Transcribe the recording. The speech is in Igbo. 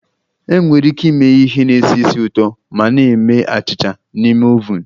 Enwere ike ịme ihe na-esi ísì ụtọ ma na-eme achịcha n'ime oven